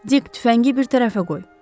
Dik tüfəngi bir tərəfə qoy.